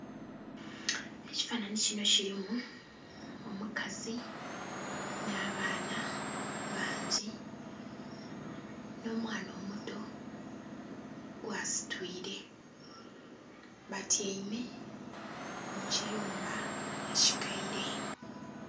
Ekifananhi kinho kilimu omukazi nh'abaana bangi nh'omwana omuto gwasitwire, batyaime mu kiyumba ekikaire.